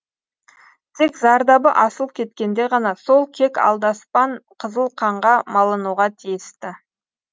тек зардабы асып кеткенде ғана сол кек алдаспан қызыл қанға малынуға тиісті